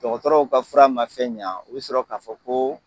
Dɔgɔtɔrɔw ka fura ma fɛn ɲan, u bɛ sɔrɔ k'a fɔ ko